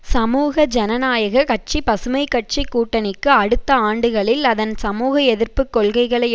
சமூக ஜனநாயக கட்சிபசுமை கட்சி கூட்டணிக்கு அடுத்த ஆண்டுகளில் அதன் சமூகஎதிர்ப்புக் கொள்கைகளை